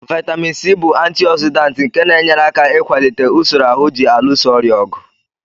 Vitamin C bụ antioxidant nke na-enyere aka ịkwalite usoro ahụ ji alụso ọrịa ọgụ.